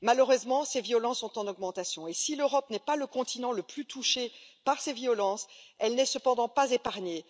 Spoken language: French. Ces violences sont malheureusement en augmentation, et si l'Europe n'est pas le continent le plus touché par ces violences, elle n'est cependant pas épargnée.